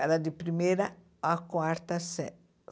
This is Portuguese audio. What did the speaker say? Era de primeira a quarta série.